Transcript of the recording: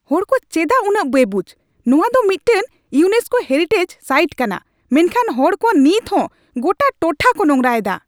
ᱦᱚᱲ ᱠᱚ ᱪᱮᱫᱟᱜ ᱩᱱᱟᱹᱜ ᱵᱮᱵᱩᱡ ? ᱱᱚᱣᱟ ᱫᱚ ᱢᱤᱫᱴᱟᱝ ᱤᱭᱩᱱᱮᱥᱠᱳ ᱦᱮᱨᱤᱴᱮᱡ ᱥᱟᱭᱤᱴ ᱠᱟᱱᱟ ᱢᱮᱱᱠᱷᱟᱱ ᱦᱚᱲᱠᱚ ᱱᱤᱛ ᱦᱚᱸ ᱜᱚᱴᱟ ᱴᱚᱴᱷᱟ ᱠᱚ ᱱᱚᱸᱜᱨᱟᱭᱮᱫᱟ ᱾